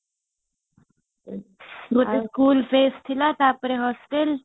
ଆଗ school ଥିଲା ତାପରେ hostel